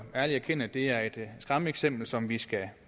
erkende at det er et skræmmeeksempel som vi skal